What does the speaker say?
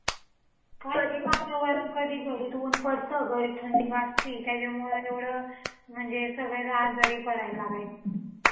कधी वातावरण घडीत ऊन पडतं घडीत थंडी वाजती. त्याच्यामुळं एवढं म्हणजे सगळे आजारी पडायला लागले .